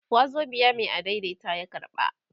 wazobiya Mai adaidaita ya karba